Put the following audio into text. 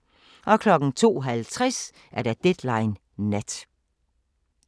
02:50: Deadline Nat